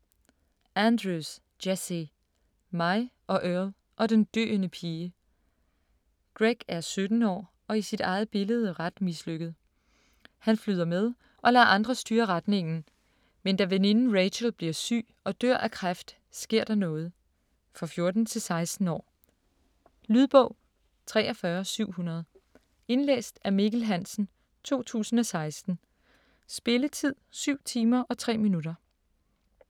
Andrews, Jesse: Mig og Earl og den døende pige Greg er 17 år og i sit eget billede ret mislykket. Han flyder med og lader andre styre retningen, men da veninden Rachel bliver syg og dør af kræft, sker der noget. For 14-16 år. Lydbog 43700 Indlæst af Mikkel Hansen, 2016. Spilletid: 7 timer, 3 minutter.